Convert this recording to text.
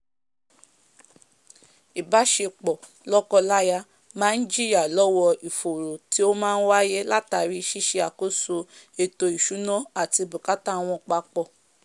ìbásepọ̀ lọ́kọ láya máá jiyà lọ́wọ́ ìfòró tí ó máá wáyé látàri síse àkóso ètò ìsúná àti bùkátà wọn papọ̀